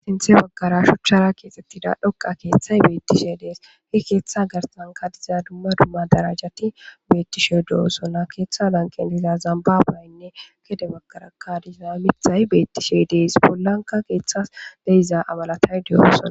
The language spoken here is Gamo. Sinthe waggara shuchchara keexettida dhoqa keeththay beettishe dees hi keeththa garsanka diza dumma dumma darajati beettishe do7o sonna keeththa lanqen tiza zambabaynne kede baggara ka diza mithay beettishe dees pollanka keeththas deiza amalatay deyosona